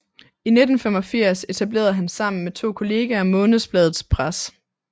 I 1985 etablerede han sammen med to kolleger Månedsbladet Press